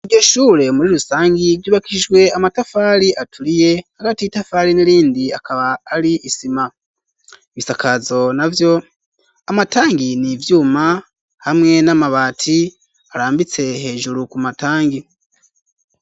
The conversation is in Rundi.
Iryo ishure muri rusangi ryubakishijwe amatafari aturiye hagati y'itafari n'irindi akaba ari isima ibisakazo navyo amatari n'ivyuma hamwe n'amabati arambitse hejuru ku matangi.